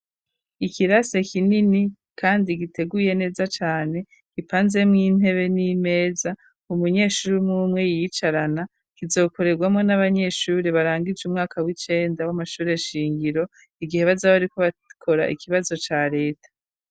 Ikirase kinini kandi giteguye neza cane kipanze mw'intebe n'imeza umunyeshuri mwumwe yicarana kizokorerwamo n'abanyeshuri barangije umwaka w'icenda w'amashuri shingiro, igihe bazaba ariko bakora ikibazo ca reta.